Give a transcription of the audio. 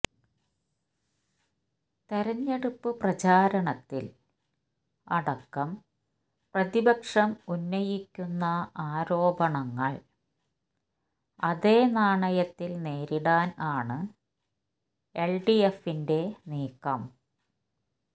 തെരഞ്ഞെടുപ്പ് പ്രചാരണത്തിൽ അടക്കം പ്രതിപക്ഷം ഉന്നയിക്കുന്ന ആരോപണങ്ങൾ അതേ നാണയത്തിൽ നേരിടാൻ ആണ് എൽഡിഎഫിന്റെ നീക്കം